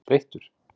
er þreyttur?